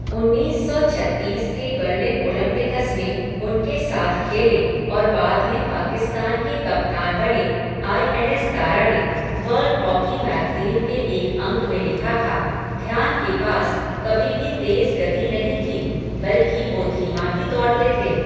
उन्नीस सौ छत्तीस के बर्लिन ओलंपिकस में, उनके साथ खेले, और बाद में पाकिस्तान के कप्तान बने आईएनएस दारा ने, वर्ल्ड हॉकी मैगज़ीन के एक अंक में लिखा था, ध्यान के पास, कभी भी तेज़ गति नहीं थी, बल्कि वो धीमा ही दौड़ते थे.